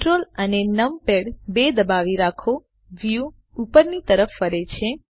Ctrl અને numpad 2 દબાવી રાખો વ્યુ ઉપરની તરફ ફરે છે